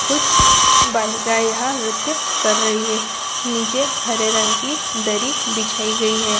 कुछ बालिका यहाँ नृत्य कर रही है | नीचे हरे रंग की दरी बिछाई गई है।